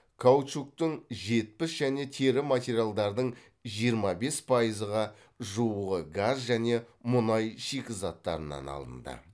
каучуктың жетпіс және тері материалдардың жиырма бес пайызға жуығы газ және мұнай шикізаттарынан алынды